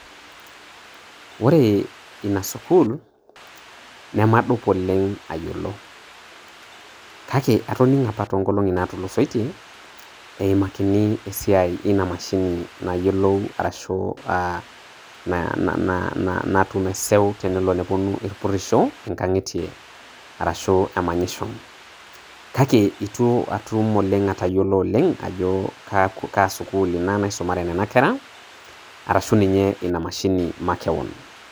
Ore ena sukuul naamadup oleng aiyeloo. Kaki atoning'o apaa te ngoloni naitulusaike eimakini esiai enia mashini nayelou arashuu aah naituume seu tenelo neponuu mpurusho ng'anyitee arashuu emanyisho. Kaki ituu atuum oleng atanyelo oleng ajo kaa sukuul enaa nasomore kuna nkerra arashuu ninye ena mashin makee'on.